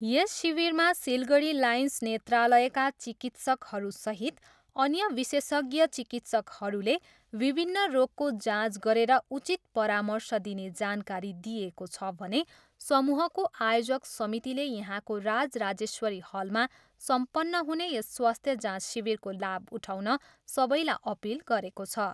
यस शिविरमा सिलगढी लायन्स नेत्रालयका चिकित्सकहरूसहित अन्य विशेषज्ञ चिकित्सकहरूले विभिन्न रोगको जाँच गरेर उचित परार्मश दिने जानकारी दिइएको छ भने समूहको आयोजक समितिले यहाँको राज राजश्वेरी हलमा सम्पन्न हुने यस स्वास्थ्य जाँच शिविरको लाभ उठाउन सबैलाई अपिल गरेको छ।